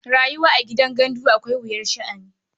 Rayuwa a gidan gandu akwai wuyar sha'ani.